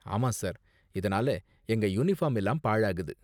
ஆமா சார், இதனால எங்க யூனிபார்ம் எல்லாம் பாழாகுது.